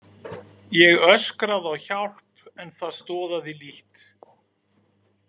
Ég öskraði á hjálp en það stoðaði lítt.